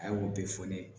A y'o bɛɛ fɔ ne ye